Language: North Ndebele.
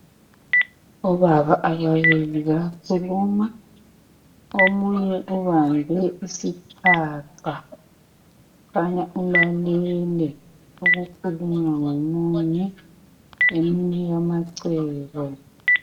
Obaba ababili bayakhuluma omunye ubambe isiphaqa khanya ulalele okukhulunywa ngomunye emnika amacebo.